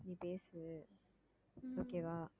நீ பேசு okay வா